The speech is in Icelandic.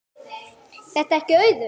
Er það ekki Auður?